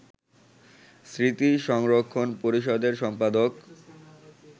স্মৃতি সংরক্ষণ পরিষদের সম্পাদক